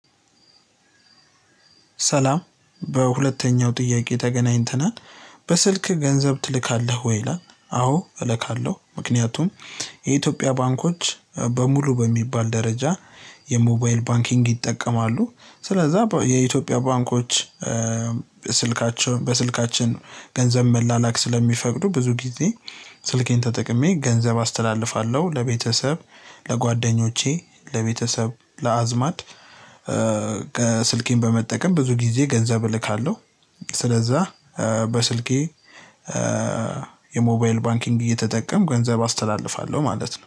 ሰላም በሁለተኛው ጥያቄ ተገናኝተናል በስልክ ገንዘብ ትልካለህ ወይ ይላል አዎ እልካለሁ ምክንያቱም የኢትዮጵያ ባንኮች በሙሉ በሚባል ደረጃ የሞባይል ባንኪንግ ይጠቀማሉ ስለዛ የኢትዮጵያ ባንኮች ስልካቸውን በስልካችን ገንዘብ መላላክ ስለሚፈቅዱ ብዙ ጊዜ ስልኬን ተጠቅሜ ገንዘብ አስተላልፋለሁ ለቤተሰብ ለጓደኞቼ ለቤተሰብ ለአዝማድ ከስልኬን በመጠቀም ብዙ ጊዜ ገንዘብ እልካለሁ። ስለዛ በስልኬ የሞባይል ባንኪንግ እየተጠቀምኩ ገንዘብ አስተላልፋለሁ ማለት ነው።